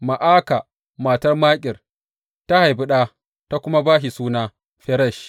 Ma’aka matar Makir ta haifi ɗa ta kuma ba shi suna Feresh.